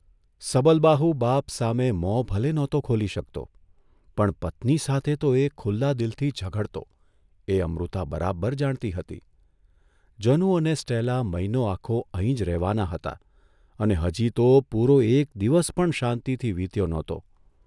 સબલબાહુ બાપ સામે મોં ભલે નહોતો ખોલી શકતો પણ પત્ની સાથે તો એ ખુલ્લા દિલથી ઝઘડતો એ અમૃતા બરાબર જાણતી હતી જનુ અને સ્ટેલા મહિનો આખો અહીં જ રહેવાનાં હતાં અને હજી તો પૂરો એક દિવસ પણ શાંતિથી વિત્યો નહોતો.